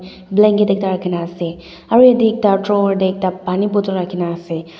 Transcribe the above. Blanket ekta rakhina ase aro yate ekta drawer tey ekta pani bottle rakhi kena ase.